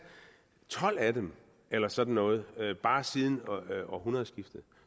tolv af dem eller sådan noget bare siden århundredskiftet